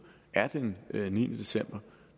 er den niende december